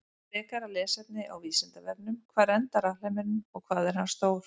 Frekara lesefni á Vísindavefnum: Hvar endar alheimurinn og hvað er hann stór?